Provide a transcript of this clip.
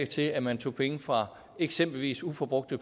til at man tager penge fra eksempelvis uforbrugte